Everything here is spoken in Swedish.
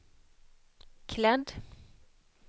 klädd